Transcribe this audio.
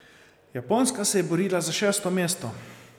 Japonska se je borila za šesto mesto.